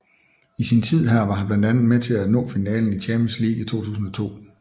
I sin tid her var han blandt andet med til at nå finalen i Champions League i 2002